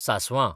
सासवां